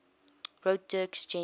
wrote dirk gently's